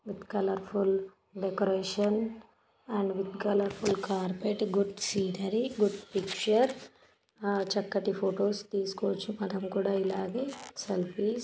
With colourful decoration and colourful carpet good scenery good picture ఆ చక్కటి photos తీసుకోవచ్చు. మనం కూడా ఇలాగే సేల్ఫీస్ .